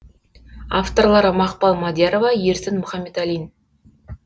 авторлары мақпал мадиярова ерсін мұхамбеталин